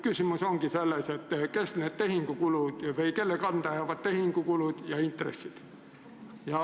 Küsimus ongi, kelle kanda jäävad need tehingukulud ja intressid.